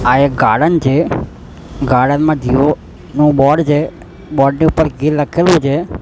આ એક ગાર્ડન છે ગાર્ડન મા ધ્યોનુ બોર્ડ છે બોર્ડ ની ઉપર ગે લખેલુ છે.